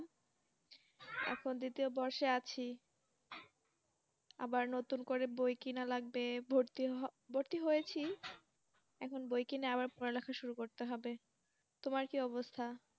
এখন তো তো বসে আছি। আবার নতুন করে বই কিনা লাগবে ভর্তি হ~ ভর্তি হয়েছি, এখণ বই কিনে আআব্র পড়া লেখা শুরু করতে হবে। তোমার কি অবস্থা?